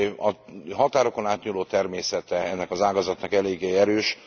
A határokon átnyúló természete ennek az ágazatnak eléggé erős.